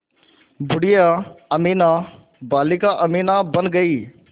बूढ़िया अमीना बालिका अमीना बन गईं